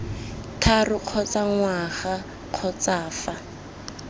tharo kgotsa ngwaga kgotsa fa